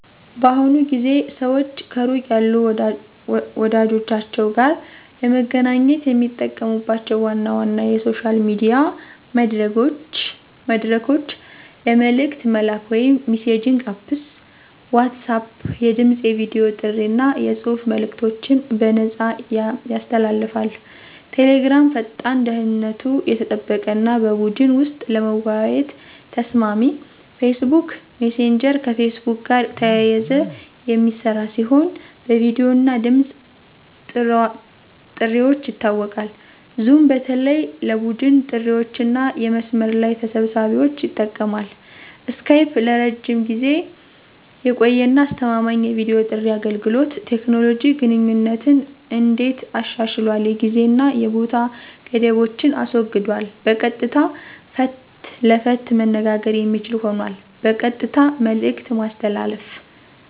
በአሁኑ ጊዜ ሰዋች ከሩቅ ያሉ ወዳጀቻችዉ ጋር ለመገናኘት የሚጠቀሙባቸው ዋና ዋና የሶሻል ሚዲያ መድረኮች ለመልእክት መላላክ (messaging Apps) WhatsApp የድምፅ፣ የቨዲ ጥሪ አና የጽሑፍ መልእከቶችን በነፃያሰ ያስተላልፋል። Telegram ፈጣን፣ ደህንነቱ የተጠበቀ አና በቡድን ወሰጥ ለመወያየት ተሰማሚ። Facebook messager ከፌስቡክ ጋር ተያይዘ የሚስራ ሲሆን በቪዲዮ እና ድምፅ ጥርዋች ይታወቃል። zoom በተለይ ለቡድን ጥሪዋችአና የመስመር ለይ ተሰብሳቢዎች ይጠቅማል። skype ለረጅም ጊዜ የቆየ አና አስተማማኝ የቪዲዮ ጥሪ አገልገሎት። ቴኮኖሎጂ ግንኙነትን እንዴት አሻሽሏል የጊዜ አና የቦታ ገደቦችን አስወግዷል በቀጥታ ፈት ለፈት መነጋገር የሚችል ሆኗል። በቀጥታ መልእክት ማስተላለፍ